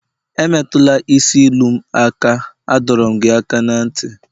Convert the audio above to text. emetula isi ilu m aka, adọrum gi aka na nti!